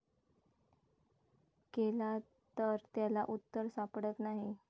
केला तर त्याला उत्तर सापडत नाही.